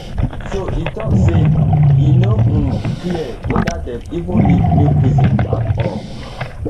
so e tok say e no um clear whether dem even need new prison at all